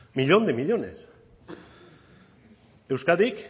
millón de millónes euskadik